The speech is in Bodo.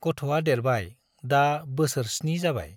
गथ'आ देरबाय, दा बोसोर स्नि जाबाय।